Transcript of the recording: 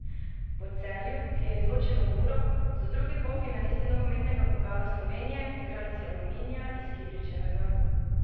Po Celju, ki je izločilo Muro, so drugi polfinalisti nogometnega pokala Slovenije igralci Aluminija iz Kidričevega.